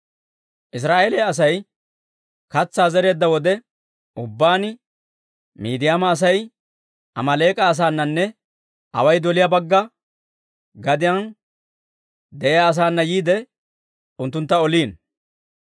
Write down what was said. Israa'eeliyaa Asay katsaa zereedda wode ubbaan, Miidiyaama Asay Amaaleek'a asaananne away doliyaa bagga gadiyaan de'iyaa asaana yiide unttuntta oliino.